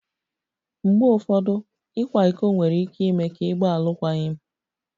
Mgbe ụfọdụ, ịkwa iko nwere ike ime ka ịgba alụkwaghịm